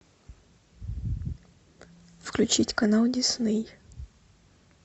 включить канал дисней